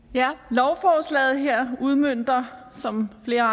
lovforslaget her udmønter som flere